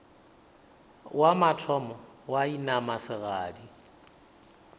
wa mathomo wa inama segadi